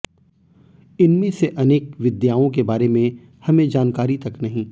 इनमें से अनेक विद्याओं के बारे में हमें जानकारी तक नहीं